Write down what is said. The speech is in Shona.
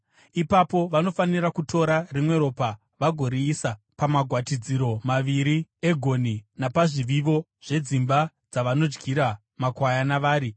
Ipapo vanofanira kutora rimwe ropa vagoriisa pamagwatidziro maviri egonhi napazvivivo zvedzimba dzavanodyira makwayana vari.